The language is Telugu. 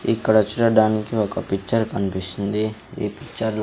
ఇక్కడ చూడడానికి ఒక పిక్చర్ కనిపిస్తుంది ఈ పిక్చర్ .